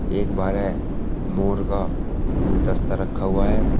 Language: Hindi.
एक बाहरे मोर का गुलदस्ता रखा हुआ है।